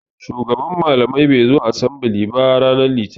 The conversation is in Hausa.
Shugaban malamai bai zo asembili ba ranar litini.